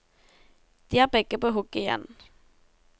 De er begge på hugget igjen.